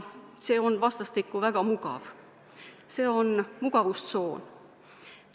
See on vastastikku väga mugav, see on mugavustsoon.